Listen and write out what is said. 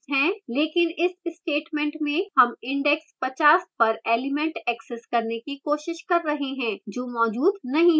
लेकिन इस statement में हम index 50 पर element access करने की कोशिश कर रहे हैं जो मौजूद नहीं है